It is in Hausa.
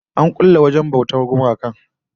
An kulle wajen bautar gumakan nasu